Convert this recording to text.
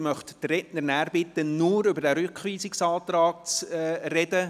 Ich möchte die Redner bitten, nur über diesen Rückweisungsantrag zu sprechen.